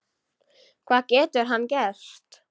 Hvað getur hann gert?